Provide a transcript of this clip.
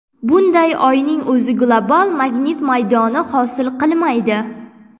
Bunda Oyning o‘zi global magnit maydoni hosil qilmaydi.